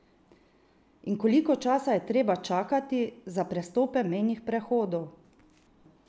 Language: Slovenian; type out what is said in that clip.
In koliko časa je treba čakati za prestope mejnih prehodov?